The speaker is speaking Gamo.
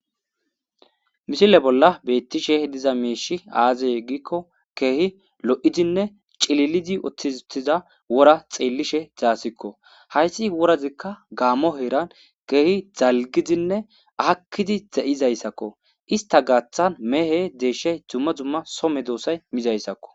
Mishile bolla beettishe diza meishi aazey giikko keehi lo7idinne cililidi oththizuttiza wora xeellishe zaasikko hayssi worazikka gaammo heeran keehi zalgidinne akkidi za7izayssakko ista gaaththan mehe deeshshey dumma dumma some doossay mizayssakko.